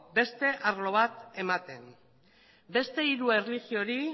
beste arlo bat ematen beste hiru erlijiori